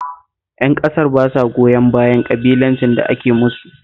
Ƴan ƙasar ba sa goyon bayan ƙabilancin da ake musu